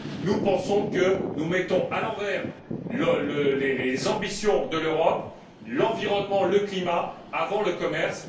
Nous pensons que nous mettons à l'envers les ambitions de l'Europe l'environnement, le climat, avant le commerce.